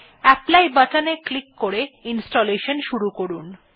apply বাটনে click করে installation শুরু করুন